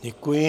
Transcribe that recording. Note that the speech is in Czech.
Děkuji.